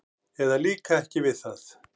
eða líka ekki við það.